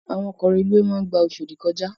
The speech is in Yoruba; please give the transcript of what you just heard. Àwón òkò rélúwé má n gbá Oshodi kòjá